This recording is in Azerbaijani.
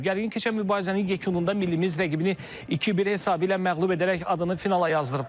Gərgin keçən mübarizənin yekununda millimiz rəqibini 2-1 hesabı ilə məğlub edərək adını finala yazdırıb.